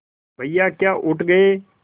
भैया क्या उठ गये